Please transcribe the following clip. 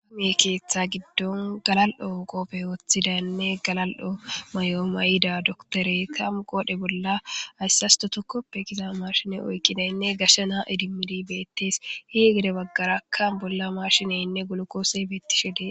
aame keeththa giddon galal7o qoofe wooththidaynne galal7o may7o may7ida doktore kamu qoodhe bolla hayssasto tokkoppe giza marshiney oyqidaynne gashsha naa idimidi beettees hi gede baggarakkan bolla marshineynne golokoose biittishe dee